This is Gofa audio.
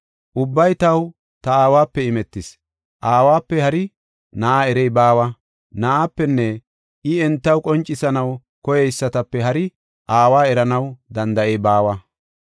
“Ubbay taw ta Aawape imetis. Aawape hari Na7a erey baawa, Na7aapenne I entaw qoncisanaw koyeysatape hari Aawa eranaw danda7ey baawa.